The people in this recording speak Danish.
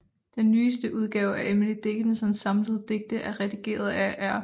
Denne nyeste udgave af Emily Dickinsons samlede digte er redigeret af R